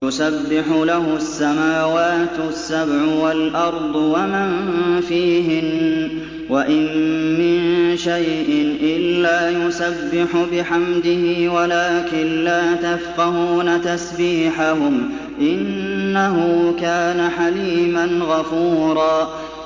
تُسَبِّحُ لَهُ السَّمَاوَاتُ السَّبْعُ وَالْأَرْضُ وَمَن فِيهِنَّ ۚ وَإِن مِّن شَيْءٍ إِلَّا يُسَبِّحُ بِحَمْدِهِ وَلَٰكِن لَّا تَفْقَهُونَ تَسْبِيحَهُمْ ۗ إِنَّهُ كَانَ حَلِيمًا غَفُورًا